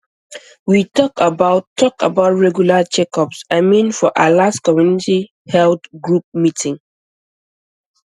we talk about talk about regular checkups i mean for our last community health group meeting